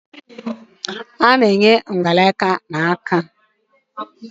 A na-eyi mgbaaka na nkwojiaka